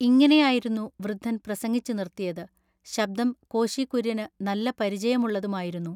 ഇങ്ങിനെയായിരുന്നു വൃദ്ധൻ പ്രസംഗിച്ചു നിർത്തിയത്. ശബ്ദം കോശി കുര്യന് നല്ല പരിചയമുള്ളതുമായിരുന്നു.